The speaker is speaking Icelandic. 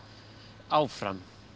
áfram